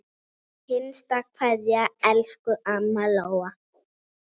HINSTA KVEÐJA Elsku amma Lóa.